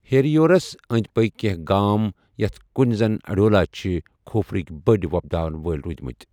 ہیریورَس أنٛدۍ پٔکۍ کینٛہہ گام یتھ کٔنۍ زَن اڈیوالا چھِ کھوٗپرٕک بٔڑ وۄپداوَن وٲلۍ رودمٕت۔